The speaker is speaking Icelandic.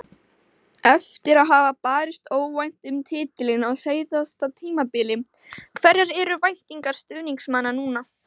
Eftir að hafa barist óvænt um titilinn á síðasta tímabili, hverjar eru væntingar stuðningsmanna núna?